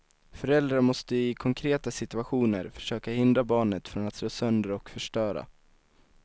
Föräldrar måste i konkreta situationer försöka hindra barnet från att slå sönder och förstöra.